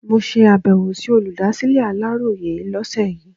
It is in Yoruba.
Mo ṣe abẹ̀wò sí olùdásílẹ̀ Aláròyé lọ́sẹ̀ yìí.